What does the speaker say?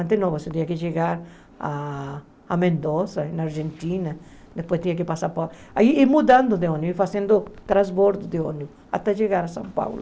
Antes não, você tinha que chegar a Mendoza, na Argentina, depois tinha que passar por... E mudando de ônibus, fazendo transbordo de ônibus, até chegar a São Paulo.